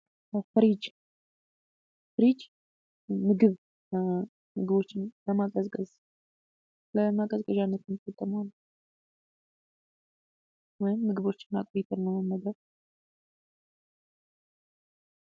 ፍሪጅ ፍሪጅ፦ ምግብ ምግቦችን ለማቀዝቀዝ ለማቀዝቀዣነት የምንጠቀመው ነው። ወይም ምግቦችን አቆይተን ለመመገብ።